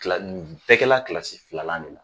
Nin bɛ kɛla kilasi filalan de la